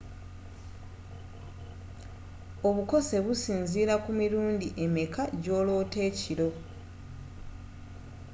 obukose businziira ku mirundi emeka jooloota ekiro